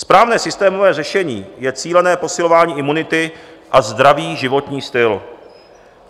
Správné systémové řešení je cílené posilování imunity a zdravý životní styl.